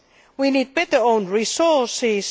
We need better own resources.